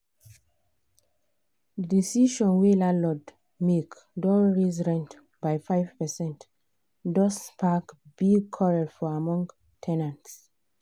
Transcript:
the decision wey the landlord make don raise rent by 5 percent don spark big quarrel for among ten ants.